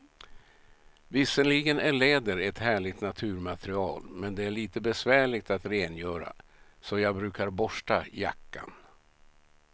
Visserligen är läder ett härligt naturmaterial, men det är lite besvärligt att rengöra, så jag brukar borsta jackan.